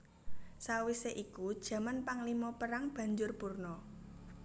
Sawisé iku jaman panglima perang banjur purna